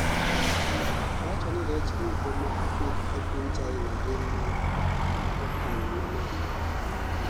owacho ni rech duto ma opidh ei piny China gin mag okang' ma malo